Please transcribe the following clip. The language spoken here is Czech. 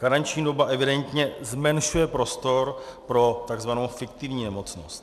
Karenční doba evidentně zmenšuje prostor pro tzv. fiktivní nemocnost.